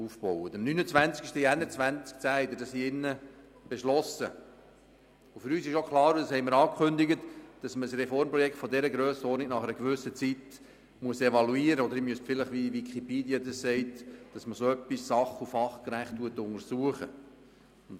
Wie angekündigt, ist für uns auch klar, dass man ein Reformprojekt von solcher Grössenordnung nach einer gewissen Zeit evaluieren oder wie Wikipedia sagt, «sach- und fachgerecht untersuchen» muss.